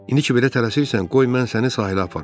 İndi ki, belə tələsirsən, qoy mən səni sahilə aparım.